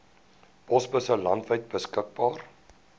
posbusse landwyd beskikbaar